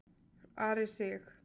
Ari Sig.